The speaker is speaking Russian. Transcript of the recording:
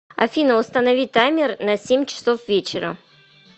афина установи таймер на семь часов вечера